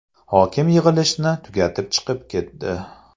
Hokim yig‘ilishni tugatib chiqib ketdi.